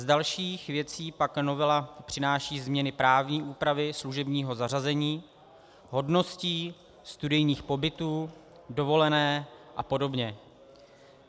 Z dalších věcí pak novela přináší změny právní úpravy služebního zařazení, hodností, studijních pobytů, dovolení a podobně.